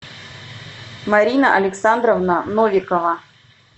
марина александровна новикова